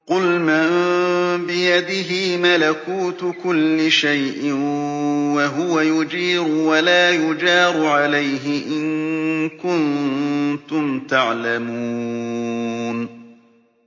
قُلْ مَن بِيَدِهِ مَلَكُوتُ كُلِّ شَيْءٍ وَهُوَ يُجِيرُ وَلَا يُجَارُ عَلَيْهِ إِن كُنتُمْ تَعْلَمُونَ